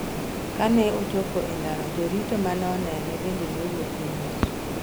Kane ochopo e ndara jorito mane onene bende nowuok ng'wech.